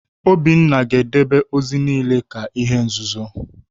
Obinna ga-edebe ozi niile ka ihe nzuzo!